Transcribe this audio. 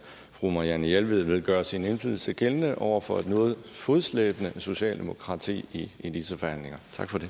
fru marianne jelved vil gøre sin indflydelse gældende over for et noget fodslæbende socialdemokrati i disse forhandlinger